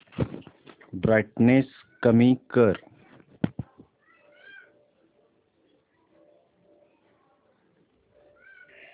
brightness कमी कर